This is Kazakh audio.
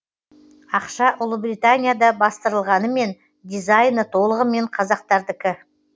ақша ұлыбританияда бастырылғанымен дизайны толығымен қазақтардікі